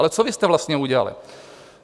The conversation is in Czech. Ale co vy jste vlastně udělali?